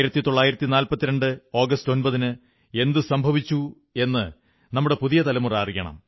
1942 August 9ന് എന്തു സംഭവിച്ചു എന്നു നമ്മുടെ പുതിയ തലമുറ അറിയണം